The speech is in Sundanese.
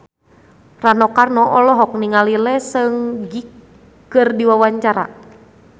Rano Karno olohok ningali Lee Seung Gi keur diwawancara